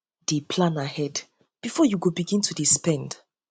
dey plan ahead um bifor yu begin start to to dey spend